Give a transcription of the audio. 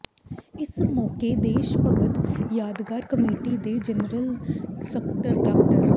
ਇਸ ਮੌਕੇ ਦੇਸ਼ ਭਗਤ ਯਾਦਗਾਰ ਕਮੇਟੀ ਦੇ ਜਨਰਲ ਸਕੱਤਰ ਡਾ